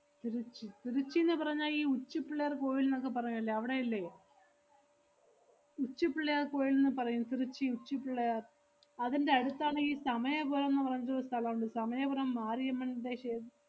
തിരുച്ചി തിരുച്ചിന്ന് പറഞ്ഞാ ഈ ഉച്ചിപ്പിള്ളയാര്‍ കോവിൽ ~ന്നക്കെ പറയുവല്ലെ, അവടെയല്ലേ? ഉച്ചിപ്പിള്ളയാര്‍ കോവിൽ ~ന്ന് പറയും തിരുച്ചി ഉച്ചിപ്പിള്ളയാര്‍. അതിന്‍റെ അടുത്താണ് ഈ സമയപുരംന്ന് പറഞ്ഞൊരു സ്ഥലം ഒണ്ട്. സമയപുരം മാരിയമ്മന്‍റെ ക്ഷേ~